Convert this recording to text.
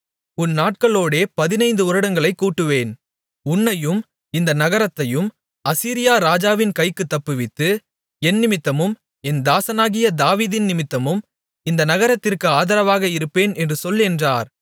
உன் நாட்களோடே பதினைந்து வருடங்களைக் கூட்டுவேன் உன்னையும் இந்த நகரத்தையும் அசீரியா ராஜாவின் கைக்குத் தப்புவித்து என்னிமித்தமும் என் தாசனாகிய தாவீதின்நிமித்தமும் இந்த நகரத்திற்கு ஆதரவாக இருப்பேன் என்று சொல் என்றார்